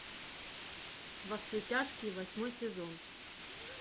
во все тяжкие восьмой сезон